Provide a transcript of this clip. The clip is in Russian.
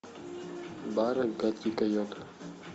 бар гадкий койот